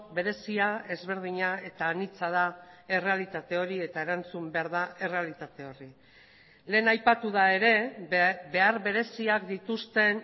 berezia ezberdina eta anitza da errealitate hori eta erantzun behar da errealitate horri lehen aipatu da ere behar bereziak dituzten